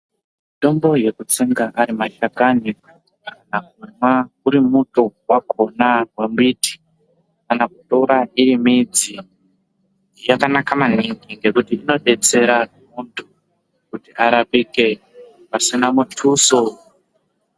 Mutombo yekutsenga ari mahlakani kana kumwa uri muto wakjona wembiti kana kutora midzi yakanaka maningi ngekuti inodetsera muntu kuti arapike pasina muthuso.